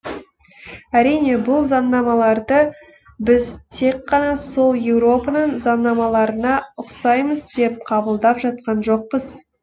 әрине бұл заңнамаларды біз тек қана сол еуропаның заңнамаларына ұқсаймыз деп қабылдап жатқан жоқпыз